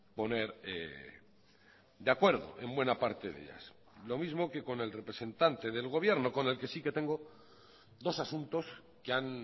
poner de acuerdo en buena parte de ellas lo mismo que con el representante del gobierno con el que sí que tengo dos asuntos que han